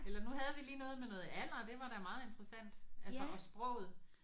Eller nu havde vi lige noget med noget alder og det var da meget interessant altså og sproget